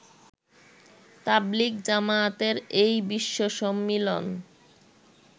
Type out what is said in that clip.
তাবলিগ জামায়াতের এই বিশ্ব সম্মিলন